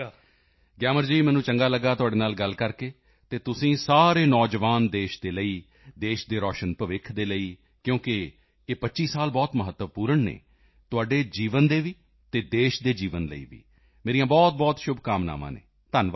ਗਿਆਮਰ ਜੀ ਮੈਨੂੰ ਚੰਗਾ ਲਗਾ ਤੁਹਾਡੇ ਨਾਲ ਗੱਲ ਕਰਕੇ ਅਤੇ ਤੁਸੀਂ ਸਾਰੇ ਨੌਜਵਾਨ ਦੇਸ਼ ਦੇ ਲਈ ਦੇਸ਼ ਦੇ ਰੋਸ਼ਨ ਭਵਿੱਖ ਦੇ ਲਈ ਕਿਉਂਕਿ ਇਹ 25 ਸਾਲ ਬਹੁਤ ਮਹੱਤਵਪੂਰਣ ਹਨ ਤੁਹਾਡੇ ਜੀਵਨ ਦੇ ਵੀ ਅਤੇ ਦੇਸ਼ ਦੇ ਜੀਵਨ ਲਈ ਵੀ ਮੇਰੀਆਂ ਬਹੁਤਬਹੁਤ ਸ਼ੁਭਕਾਮਨਾਵਾਂ ਹਨ ਧੰਨਵਾਦ